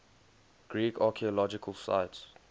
greek archaeological sites